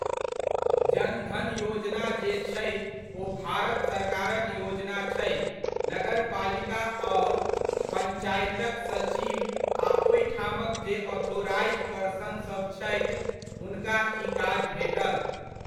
जन धन योजना जे छै ओ भारत सरकारक योजना छै, नगरपालिका आओर पञ्चायतक सचिव आ ओहिठामक जे ऑथोराइज्ड पर्सनसभ छथि, हुनका ई काज भेटल।